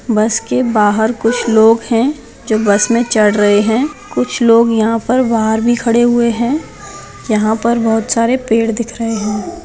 बस के बाहर कुछ लोग है जो बस पर चढ़ रहे है कुछ लोग यहां पर बाहर भी खड़े हुए हैं यहां पर बहुत सारे पेड़ दिख रहे है।